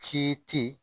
Ci